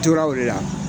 Toraw de la